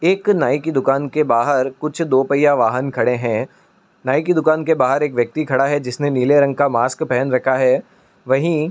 एक नाई की दुकान के बाहर कुछ दो पहिया वाहन खड़े हैं | नाई की दुकान के बाहर एक व्यक्ति खड़ा है जिसने नीले रंग का मास्क पहन रखा है। वहीं --